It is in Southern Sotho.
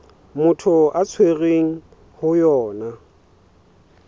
motho a tshwerweng ho yona